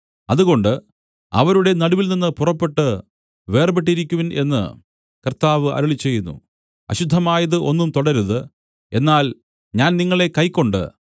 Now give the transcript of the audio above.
അതുകൊണ്ട് അവരുടെ നടുവിൽനിന്ന് പുറപ്പെട്ട് വേർപെട്ടിരിക്കുവിൻ എന്ന് കർത്താവ് അരുളിച്ചെയ്യുന്നു അശുദ്ധമായത് ഒന്നും തൊടരുത് എന്നാൽ ഞാൻ നിങ്ങളെ കൈക്കൊണ്ട്